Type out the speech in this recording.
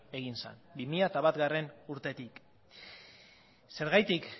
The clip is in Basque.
egin zen bi mila batgarrena urtetik zergatik